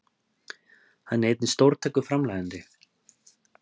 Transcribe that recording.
Hann er einnig stórtækur framleiðandi